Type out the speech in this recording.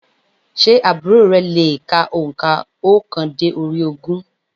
Sé àbúrò re le è ka ònkà óokan dé orí ogún?